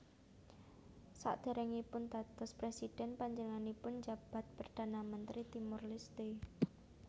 Sadèrèngipun dados prèsidhén panjenenganipun njabat Perdana Mentri Timor Leste